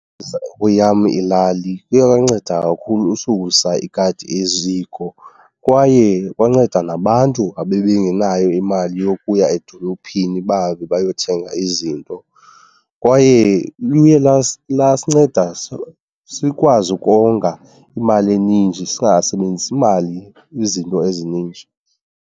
Kweyam yam ilali kuye kwanceda kakhulu ususa ikati eziko kwaye kwanceda nabantu abebengenayo imali yokuya edolophini bahambe bayothenga izinto. Kwaye luye lasinceda sikwazi ukonga imali eninji, singasebenzisi imali kwizinto ezininji.